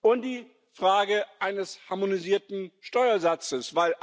und die Frage eines harmonisierten Steuersatzes.